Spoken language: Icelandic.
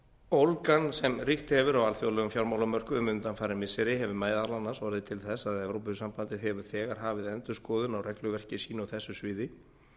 ólgan sem ríkt hefur á alþjóðlegum fjármálamörkuðum undanfarin missiri hefur meðal annars orðið til þess að evrópusambandið hefur þegar hafið endurskoðun á regluverki sínu á þessu sviði